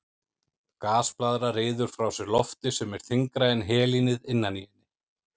Gasblaðra ryður frá sér lofti sem er þyngra en helínið innan í henni.